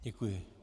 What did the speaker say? Děkuji.